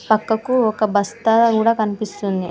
పక్కకు ఒక బస్తా గుడా కనిపిస్తుంది.